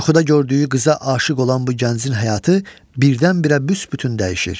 Yuxuda gördüyü qıza aşiq olan bu gəncin həyatı birdən-birə büsbütün dəyişir.